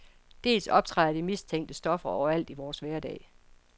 Dels optræder de mistænkte stoffer overalt i vores hverdag.